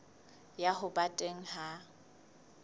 ya ho ba teng ha